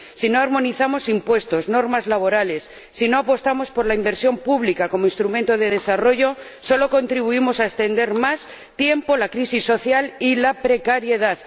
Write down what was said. Si no armonizamos impuestos, normas laborales, si no apostamos por la inversión pública como instrumento de desarrollo, solo contribuimos a extender más tiempo la crisis social y la precariedad.